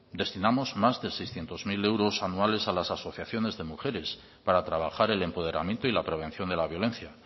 destinamos más de seiscientos mil euros anuales a las asociaciones de mujeres para trabajar el empoderamiento y la prevención de la violencia